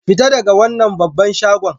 Fita daga wannan babban shagon!